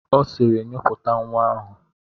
Ọ sịịrị, nyipụta nwa ahụ!